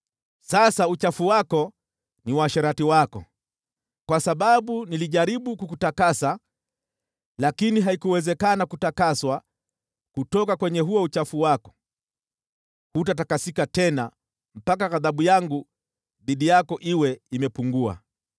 “ ‘Sasa uchafu wako ni uasherati wako. Kwa sababu nilijaribu kukutakasa lakini haikuwezekana kutakaswa kutoka kwenye huo uchafu wako, hutatakasika tena mpaka ghadhabu yangu dhidi yako iwe imepungua.